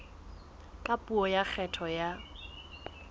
ka puo ya kgetho ya